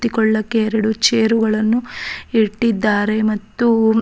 ಕುಳಿತುಕೊಳ್ಳೊಕೆ ಎರಡು ಚೇರ್ ಗಳನ್ನು ಇಟ್ಟಿದ್ದಾರೆ ಮತ್ತು.